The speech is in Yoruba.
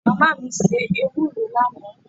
Mama mi se ewuro lana